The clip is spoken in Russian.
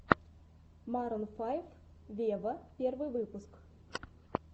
марун файв вево первый выпуск